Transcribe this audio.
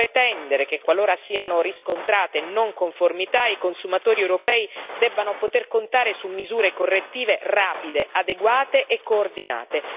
Dobbiamo pretendere che, qualora siano riscontrate non conformità, i consumatori europei debbano poter contare su misure correttive rapide, adeguate e coordinate.